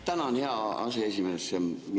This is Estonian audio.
Tänan, hea aseesimees!